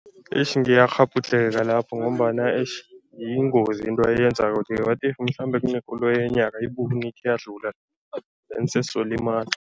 Eish ngiyakghabhudlheka lapho ngombana eish yingozi into ayenzako le, what if mhlambe kunekoloyi enye akayiboni ithi iyadlula then sesizokulimala.